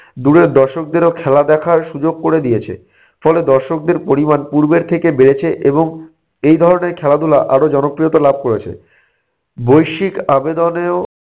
দূরের দর্শকদেরও খেলা দেখার সুযোগ ক'রে দিয়েছে। ফলে দর্শকদের পরিমাণ পূর্বের থেকে বেড়েছে এবং এই ধরনের খেলাধুলা আরো জনপ্রিয়তা লাভ করেছে। বৈশ্বিক আবেদনেও